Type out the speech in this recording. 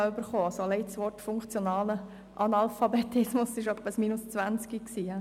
Alleine das Wort «funktionaler Analphabetismus» hätte wohl eine -20 erreicht!